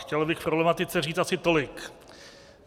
Chtěl bych k problematice říct asi tolik.